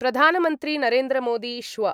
प्रधानमन्त्री नरेन्द्रमोदी श्व